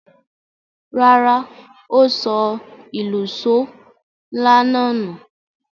Rárá, ó sọ òlùṣó ńlá náà nù.